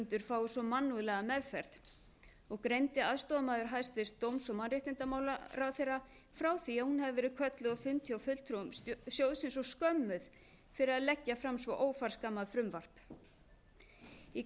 lántakendur fái svo mannúðlega meðferð og greindi aðstoðarmaður hæstvirts dóms og mannréttindamálaráðherra frá því að hún hafi verið kölluð á fund hjá fulltrúum sjóðsins og skömmuð fyrir að leggja fram svo óforskammað frumvarp í